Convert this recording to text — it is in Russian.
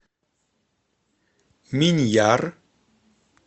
миньяр